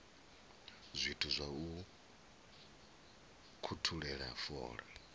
zwithu zwa u ukhuthela fola